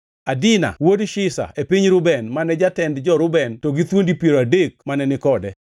Adina wuod Shiza e piny Reuben, mane jatend jo-Reuben to gi thuondi piero adek mane ni kode.